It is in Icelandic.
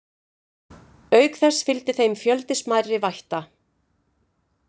Auk þess fylgdi þeim fjöldi smærri vætta.